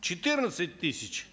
четырнадцать тысяч